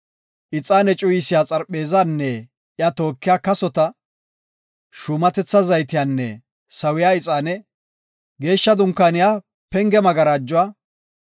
ixaane cuyisiya xarpheezanne iya tookiya kasota, shuumatetha zaytiyanne sawiya ixaane, Geeshsha Dunkaaniya penge magarajuwa;